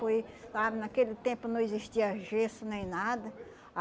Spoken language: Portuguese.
Foi, sabe, naquele tempo não existia gesso nem nada.